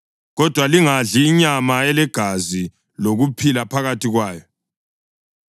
Kodwa lingadli inyama ilegazi lokuphila phakathi kwayo.